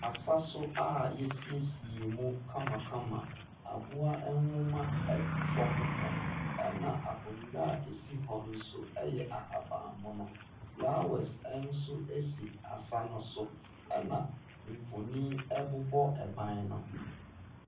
Asa so a wɔasiesie mu kamakama. Aboa nwoma gu dam hɔ. Ɛna akonnwa a ɛsi hɔ no nso yɛ ahabammono. Flowers nso si asa no so, ɛna mfonin bobɔ ban no ho.